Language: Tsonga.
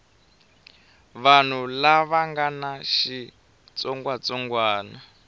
vanhu lava nga na xitsongwatsongwana